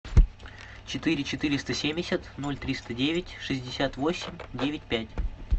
четыре четыреста семьдесят ноль триста девять шестьдесят восемь девять пять